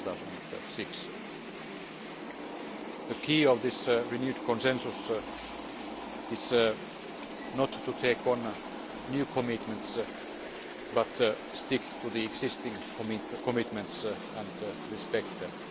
2006. The key of this renewed consensus is not to take on new commitments but to stick to the existing commitments and respect them.